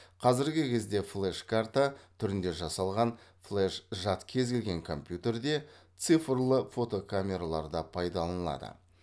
қазіргі кезде флеш карта түрінде жасалған флеж жад кез келген компьютерде цифрлы фотокамераларда пайдаланылады